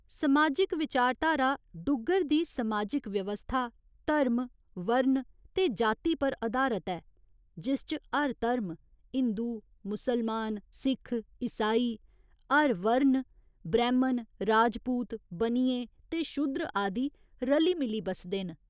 समाजिक विचारधारा डुग्गर दी समाजिक व्यवस्था धर्म, वर्ण ते जाति पर अधारत ऐ, जिस च हर धर्म हिंदु, मुसलमान, सिक्ख, ईसाई, हर वर्ण ब्रैह्‌मण, राजपूत, बनिये ते शूद्र आदि रली मिली बसदे न।